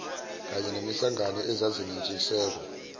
kany enezinhlangano ezazinentshisekelo